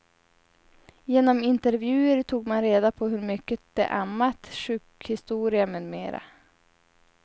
Genom intervjuer tog man reda på hur mycket de ammat, sjukhistoria med mera.